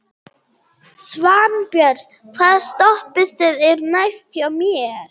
Svanbjörn, hvaða stoppistöð er næst mér?